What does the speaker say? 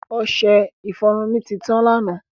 Ọṣẹ-ifọrun mi ti tan lánà.